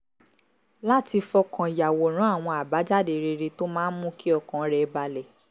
láti fọkàn yàwòrán àwọn àbájáde rere tó máa mú kí ọkàn rẹ̀ balẹ̀